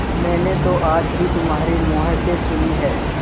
मैंने तो आज ही तुम्हारे मुँह से सुनी है